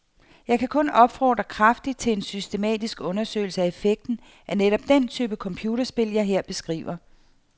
Jeg kan kun opfordre kraftigt til en systematisk undersøgelse af effekten af netop den type computerspil, jeg her beskriver.